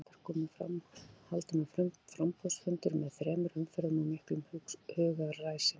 Fjórir listar komu fram, haldinn var framboðsfundur með þrem umferðum og miklum hugaræsingi.